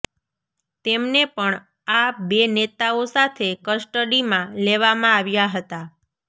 તેમને પણ આ બે નેતાઓ સાથે કસ્ટડીમાં લેવામાં આવ્યા હતા